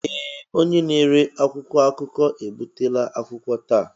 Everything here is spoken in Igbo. Ee! Onye na-ere akwụkwọ akụkọ ebutela akwụkwọ taa.